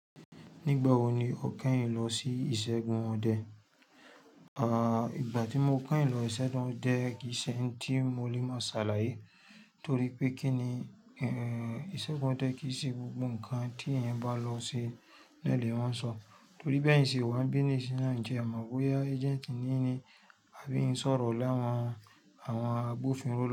Nígbà wo ni o kẹ́yìn lọ sí ìṣẹ́gun ọdẹ? A à, ìgbà tí mo kẹ́yìn lọ ìṣẹ́gun ọdẹ kì í ṣe ẹ́ń tí mo lè mọ́ sàlàyé torí pé kí ni, ẹ́ẹ́ ìṣẹ́gun ọdẹ kì í ṣe gbogbo nǹkan tí èèyàn bá lọ ṣe ni ole ma ń sọ. Torí be yin ṣe wa n bí ní ìṣe náà jẹ́, mọ̀ bóyá agent níyin ni àbí ń sọ̀rọ̀ lẹ́wọ̀n àwọn agbófinró lọ́wọ́